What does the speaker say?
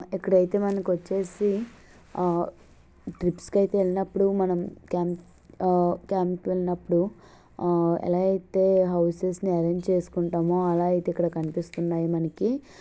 ఇక్కడైతే మనకొచ్చేసి ఆ ట్రిప్స్ కి అయితే వెళ్ళినప్పుడు మనం కాం ఆ క్యాంపు కి వెళ్ళినప్పుడు ఇలా అయితే హౌసెస్ ఆరెంజ్ చేస్కుంటామో ఆలా అయితే ఇక్కడ కనిపిస్తుంది మనకి --